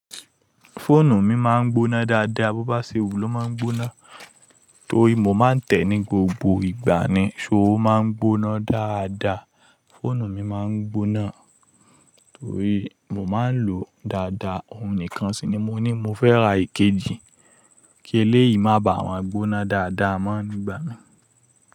Fóònù mi máa ń gbóná dáadáa, bó bá ṣe wù ló máa ń gbóná. Torí mo máa ń tẹ̀ ní gbogbo ìgbà ni, ṣó máa ń gbóná dáadáa. Fóònù mi máa ń gbóná torí mo máa ń lòó dáadáa, òun nìkan ṣí ni mo ní mo fẹ́ ra ikejì kí eléyìí má bàá wọ́n gbóná dáadáa mọ́ ni ìgbà mí.